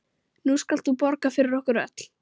Nú skalt þú borga fyrir okkur öll.